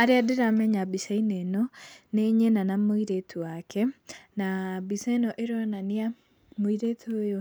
Arĩa ndĩramenya mbica-inĩ ĩno, nĩ nyina na mũirĩtu wake, na mbica ĩno ĩronani mũirĩtu ũyũ